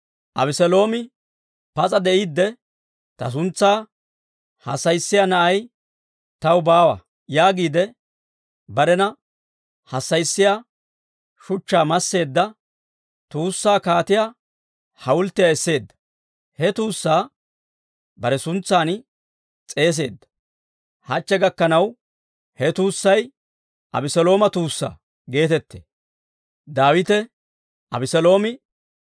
Abeseeloomi pas'a de'iidde, «Ta suntsaa hassayissiyaa na'i taw baawa» yaagiide, barena hassayissiyaa shuchchaa masseedda tuussaa kaatiyaa hawulttiyaa esseedda; he tuussaa bare suntsan s'eeseedda. Hachche gakkanaw, he tuussay «Abeselooma tuussaa» geetettee.